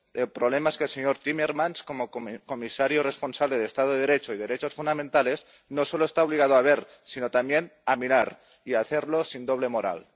El problema es que el señor Timmermans, como comisario responsable de Estado de Derecho y Derechos Fundamentales, no solo está obligado a ver, sino también a mirar, y a hacerlo sin doble moral.